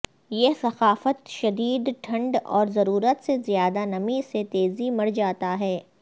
یہ ثقافت شدید ٹھنڈ اور ضرورت سے زیادہ نمی سے تیزی مر جاتا ہے